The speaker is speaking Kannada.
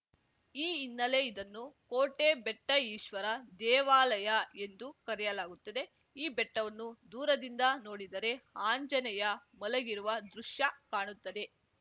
ಈ ಹಿನ್ನೆಲೆ ಇದನ್ನು ಕೋಟೆಬೆಟ್ಟಈಶ್ವರ ದೇವಾಲಯ ಎಂದು ಕರೆಯಲಾಗುತ್ತದೆ ಈ ಬೆಟ್ಟವನ್ನು ದೂರದಿಂದ ನೋಡಿದರೆ ಆಂಜನೇಯ ಮಲಗಿರುವ ದೃಶ್ಯ ಕಾಣುತ್ತದೆ